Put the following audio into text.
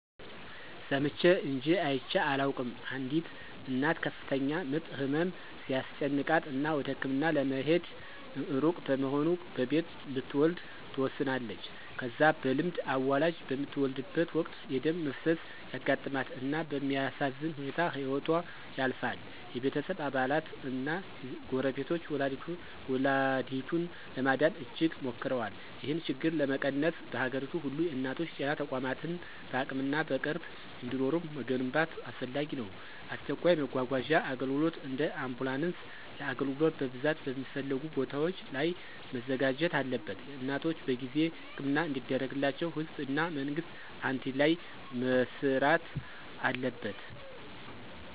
ሰምቼ እንጅ አይቼ አላውቅም፣ አንዲት እናት ከፍተኛ ምጥ ህመም ሲያስጨንቃት እና ወደ ህክምና ለመሄድ እሩቅ በመሆኑ በቤት ልትወለድ ትወስናለች። ከዛ በልምድ አዋላጅ በምትወልድበት ወቅት የደም መፍሰስ ያጋጥማት እና በሚያሳዝን ሁኔታ ህይወቶ ያልፋል። የቤተሰብ አባላት እና ጎረቤቶች ወላዲቱን ለማዳን እጅግ ሞክረዋል። ይህን ችግር ለመቀነስ፣ በአገሪቱ ሁሉ የእናቶች ጤና ተቋማትን በአቅምና በቅርብ እንዲኖሩ መገንባት አስፈላጊ ነው። አስቸኳይ መጓጓዣ አገልግሎት (እንደ አምቡላንስ) ለአገልግሎት በብዛት በሚፈለጉ ቦታዎች ላይ መዘጋጀት አለበት። እናቶች በጊዜ ሕክምና እንዲደረግላቸው ህዝብ እና መንግስት አንድላይ መሥሪት አለበት።